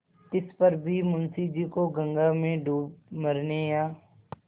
तिस पर भी मुंशी जी को गंगा में डूब मरने या